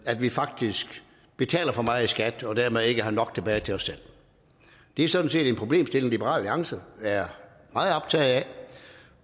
at vi faktisk betaler for meget i skat og dermed ikke har nok tilbage til os selv det er sådan set en problemstilling liberal alliance er meget optaget af